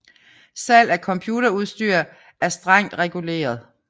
Salg af computerudstyr er strengt reguleret